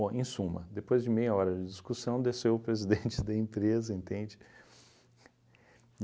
Bom, em suma, depois de meia hora de discussão, desceu o presidente da empresa, entende?